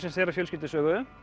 þeirra fjölskyldusögu